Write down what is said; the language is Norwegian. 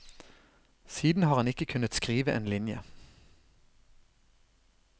Siden har han ikke kunnet skrive en linje.